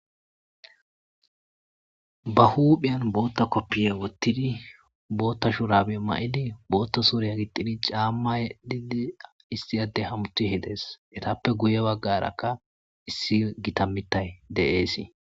ba huuphiyan bootta koppiye wottidi bootta shurabe ma'idi bootta suriya gixidi caamma yedii issi addey hamutishe dees etappe guye baggarakka issi gita mitay de'eesii